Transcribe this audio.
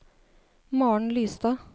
Maren Lystad